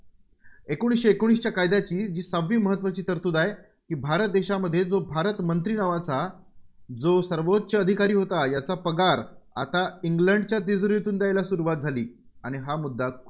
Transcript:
एकोणीसशे एकोणीसच्या कायद्याची जी सहावी महत्त्वाची तरतुद आहे, ती भारत देशामध्ये जो भारतमंत्री नावाचा जो सर्वोच्च अधिकारी होता, याचा पगार आता इंग्लंडच्या तिजोरीतून द्यायला सुरुवात झाली. आणि हा मुद्दा